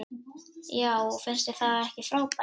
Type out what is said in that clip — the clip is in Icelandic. Já og finnst þér það ekki frábært?